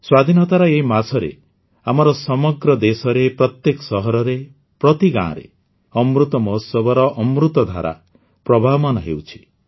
ସ୍ୱାଧୀନତାର ଏହି ମାସର ସମଗ୍ର ଦେଶରେ ପ୍ରତ୍ୟେକ ସହରରେ ପ୍ରତି ଗାଁରେ ଅମୃତ ମହୋତ୍ସବର ଅମୃତଧାରା ପ୍ରବାହମାନ ହେଉଛି